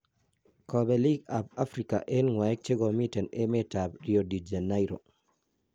kapeliig ap Africa en ngwaek chegomiten emet ap Rio-de Janairo